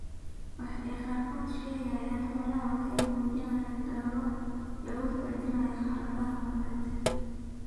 Waxa ay qaarkood ka sheegeen xoolahooda waxa ay muujinayaan dadaallo lagu hagaajinayo xaaladaha nololeed.